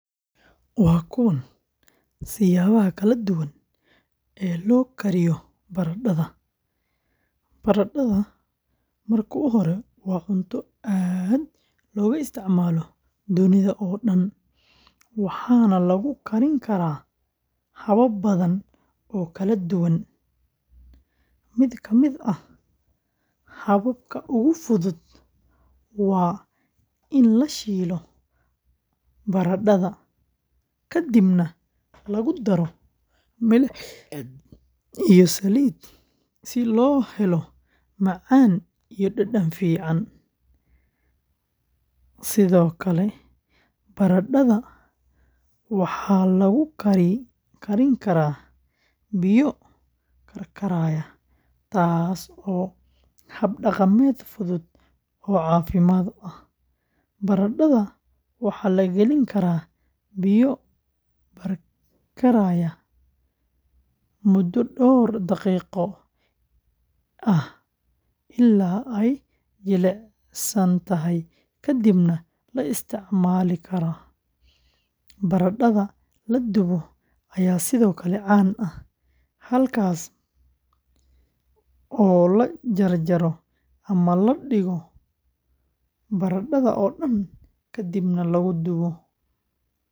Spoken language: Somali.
Waa kuwan siyaabaha kala duwan ee loo kariyo baradhada: Baradhada waa cunto aad looga isticmaalo dunida oo dhan, waxaana lagu karin karaa habab badan oo kala duwan. Mid ka mid ah hababka ugu fudud waa in la shiilo baradhada kadibna lagu daro milix iyo saliid si loo helo macaan iyo dhadhan fiican. Sidoo kale, baradhada waxaa lagu kari karaa biyo karkaraya, taasoo ah hab dhaqameed fudud oo caafimaad leh; baradhada waxaa la gelin karaa biyo karkaraya muddo dhowr daqiiqo ah ilaa ay jilicsan tahay kadibna la isticmaali karaa. Baradhada la dubo ayaa sidoo kale caan ah, halkaasoo la jarjaro ama la dhigo baradhada oo dhan kadibna lagu dubo foornada.